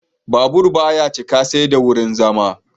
Babur ba ya cika sai da wurin zama.